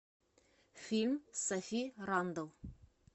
фильм с софи рандл